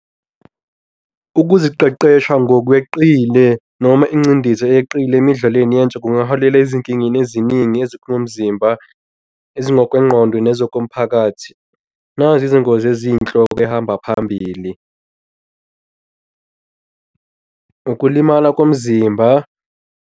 Ukuziqeqesha ngokweqile noma incindezi eyeqile emidlalweni yentsha kungaholela ezinkingeni eziningi ezikulo mzimba ezingokwegqondo nezokomphakathi. Nazi izingozi eziyinhloko ehamba phambili. Ukulimala komzimba.